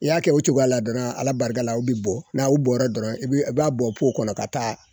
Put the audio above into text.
I y'a kɛ o cogoya a la dɔrɔn Ala barika la u bɛ bɔ n'u bɔra dɔrɔn i b'a bɔ po kɔnɔ ka taa